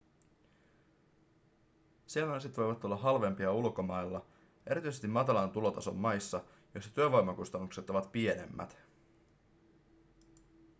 silmälasit voivat olla halvempia ulkomailla erityisesti matalan tulotason maissa joissa työvoimakustannukset ovat pienemmät